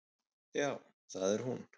Já, það er hún.